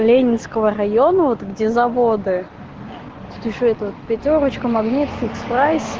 ленинского района вот где заводы ещё этот пятёрочка магнит